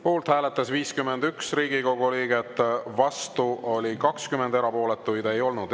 Poolt hääletas 51 Riigikogu liiget, vastu 20, erapooletuid ei olnud.